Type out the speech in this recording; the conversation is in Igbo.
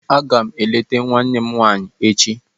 Aga m eleta nwanne m nwaanyị echi